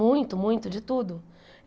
Muito, muito, de tudo.